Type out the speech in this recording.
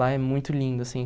Lá é muito lindo, assim.